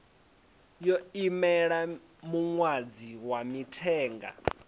yo imela muṅadzi wa mithenga